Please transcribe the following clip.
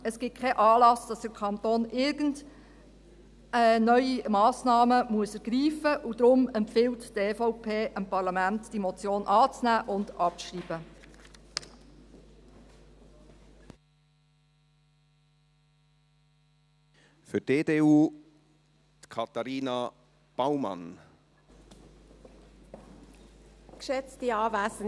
Es gibt keinen Anlass, dass der Kanton irgendwelche neuen Massnahmen ergreifen muss, und darum empfiehlt die EVP dem Parlament, die Motion anzunehmen und abzuschreiben.